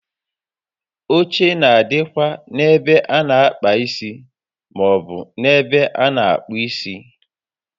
Oche na adịkwa n'ebe a na àkpà isi maọbụ n'ebe a na akpụ isi